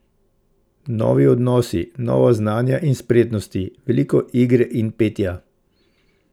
Novi odnosi, nova znanja in spretnosti, veliko igre in petja.